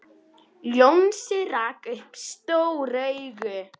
Jónsi rak upp stór augu.